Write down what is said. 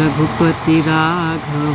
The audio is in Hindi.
रघुपति राघव--